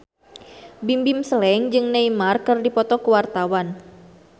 Bimbim Slank jeung Neymar keur dipoto ku wartawan